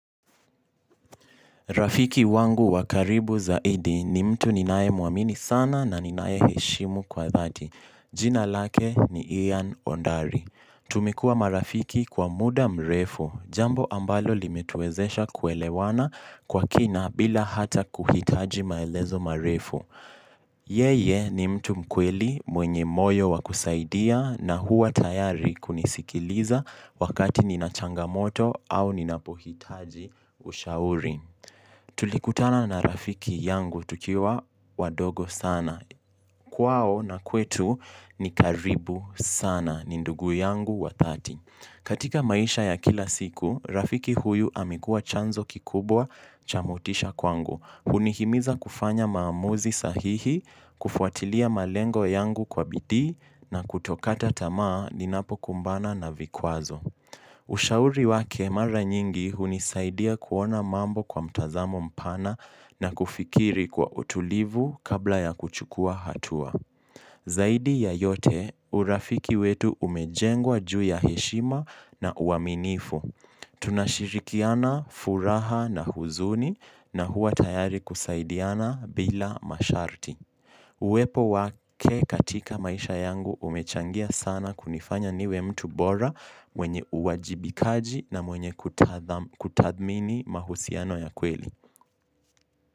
Rafiki wangu wakaribu zaidi ni mtu ninae muamini sana na ninae heshimu kwa dhati. Jina lake ni Ian Ondari. Tumekuwa marafiki kwa muda mrefu. Jambo ambalo limetuezesha kuelewana kwa kina bila hata kuhitaji maelezo marefu. Yeye ni mtu mkweli mwenye moyo wakusaidia na huwa tayari kunisikiliza wakati ninachangamoto au ninapo hitaji ushauri. Tulikutana na rafiki yangu tukiwa wadogo sana kwao na kwetu nikaribu sana ni ndugu yangu wa dhati katika maisha ya kila siku rafiki huyu amekuwa chanzo kikubwa cha motisha kwangu hunihimiza kufanya maamuzi sahihi. Kufuatilia malengo yangu kwa bidii na kutokata tamaa ninapo kumbana na vikwazo. Ushauri wake mara nyingi hunisaidia kuona mambo kwa mtazamo mpana na kufikiri kwa utulivu kabla ya kuchukua hatua. Zaidi ya yote, urafiki wetu umejengwa juu ya heshima na uaminifu. Tunashirikiana furaha na huzuni na huwa tayari kusaidiana bila masharti. Uwepo wake katika maisha yangu umechangia sana kunifanya niwe mtu bora mwenye uwajibikaji na mwenye kutathmini mahusiano ya kweli.